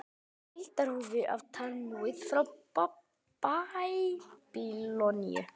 Heildarútgáfa af Talmúð frá Babýloníu.